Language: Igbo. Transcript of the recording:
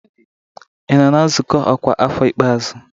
Ebe ị nọ na nzukọ ọkwa afọ ikpeazụ?